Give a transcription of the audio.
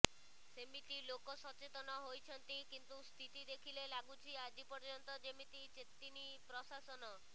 ସେମିତି ଲୋକ ସଚେତନ ହୋଇଛନ୍ତି କିନ୍ତୁ ସ୍ଥିତି ଦେଖିଲେ ଲାଗୁଛି ଆଜି ପର୍ଯ୍ୟନ୍ତ ଯେମିତି ଚେତିନି ପ୍ରଶାସନ